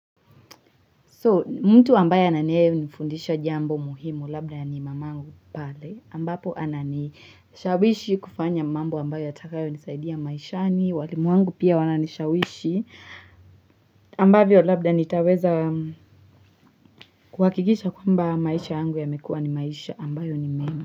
So mtu ambaye anayenifundisha jambo muhimu labda ni mamangu pale ambapo ananishawishi kufanya mambo ambaye yatakayo nisaidia maishani walimu wangu pia wananishawishi ambavyo labda nitaweza kuhakikisha kwamba maisha yangu yamekuwa ni maisha ambayo ni mema.